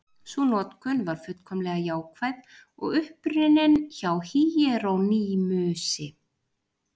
Sú notkun var fullkomlega jákvæð og upprunnin hjá Híerónýmusi.